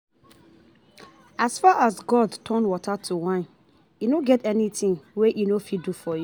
As far as God as God turn water to wine e no get anything wey e no go fit do for you